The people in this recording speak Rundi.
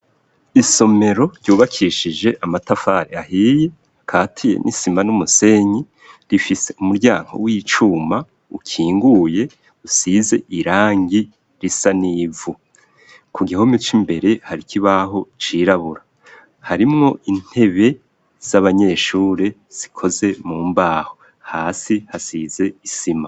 Isomero ryubakishije amatafari ahiye katiye n'isima n'umusenyi rifise umuryango w'icuma ukinguye usize irangi risa n'ivu ku gihome c'imbere hari ikibaho cirabura harimo intebe z'abanyeshure zikoze mu mbaho hasi hasize isima.